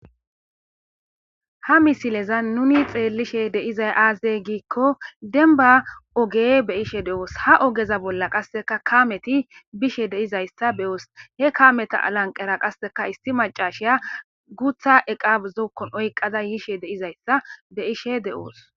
ha misileza nuni xeellishe deizay aazey giikko denbba oge beyishe de'oos ha ogeza bolla qasseka kaameti bishe deizayssa be'oos he kaameta alanqera qasseka isti macashiya guutha eqa zookkon oyqada yiishe de'izayssa bey ishe de'oos